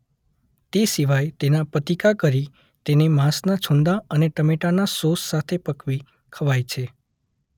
તે સિવાય તેના પતિકા કરી તેને માંસના છૂંદા અને ટમેટાના સોસ સાથે પકવી ખવાય છે.